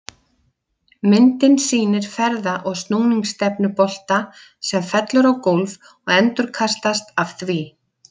Myndin sýnir ferða- og snúningsstefnu bolta sem fellur á gólf og endurkastast af því.